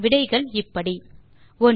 விடைகள் இப்படி 1